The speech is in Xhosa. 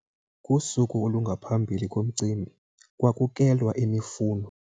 Kusuku olungaphambi komcimbi kwakukelwa imifuno.